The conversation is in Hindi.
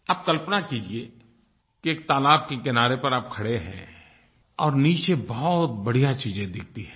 आप कल्पना कीजिये कि एक तालाब के किनारे पर आप खड़े हैं और नीचे बहुत बढ़िया चीज़ें दिखती हैं